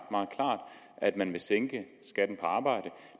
at man vil sænke skatten på arbejde